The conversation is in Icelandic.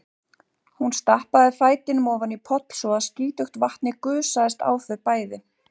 Hún stappaði fætinum ofan í poll svo að skítugt vatnið gusaðist á þau bæði.